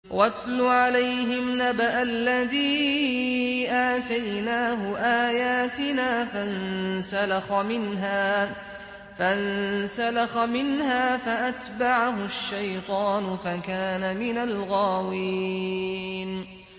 وَاتْلُ عَلَيْهِمْ نَبَأَ الَّذِي آتَيْنَاهُ آيَاتِنَا فَانسَلَخَ مِنْهَا فَأَتْبَعَهُ الشَّيْطَانُ فَكَانَ مِنَ الْغَاوِينَ